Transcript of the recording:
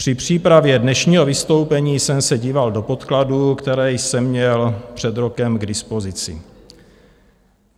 Při přípravě dnešního vystoupení jsem se díval do podkladů, které jsem měl před rokem k dispozici.